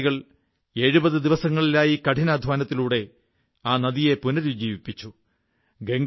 A തൊഴിലാളികൾ 70 ദിവസത്തെ കഠിനാധ്വാനത്തിലൂടെ ആ നദിയെ പുനരുജ്ജീവിപ്പിച്ചു